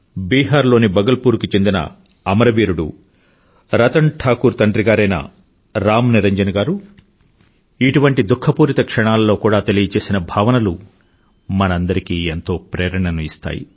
బీహార్ లోని బగల్పూర్ కు చెందిన అమరవీరుడు రతన్ ఠాకూర్ తండ్రిగారైన రామ్ నిరంజన్ గారు ఇటువంటి దుఖపూరిత క్షణాలలో కూడా తెలియచేసిన భావనలు మనందరికీ ఎంతో ప్రేరణను ఇస్తాయి